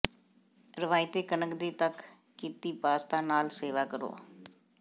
ਰਵਾਇਤੀ ਕਣਕ ਦੀ ਤੱਕ ਕੀਤੀ ਪਾਸਤਾ ਨਾਲ ਸੇਵਾ ਕਰੋ